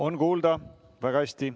On kuulda väga hästi.